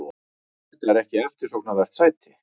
Þetta er ekki eftirsóknarvert sæti.